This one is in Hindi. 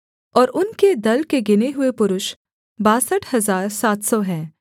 और उनके दल के गिने हुए पुरुष बासठ हजार सात सौ हैं